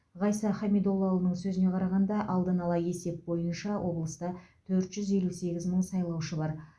ғайса хамидоллаұлының сөзіне қарағанда алдын ала есеп бойынша облыста төрт жүз елу сегіз мың сайлаушы бар